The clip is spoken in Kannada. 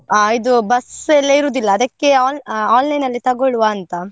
ಆ ಇದು bus ಎಲ್ಲಾ ಇರುದಿಲ್ಲ ಅದಕ್ಕೆ on~ online ಅಲ್ಲಿ ತಗೊಳ್ವಾ ಅಂತ.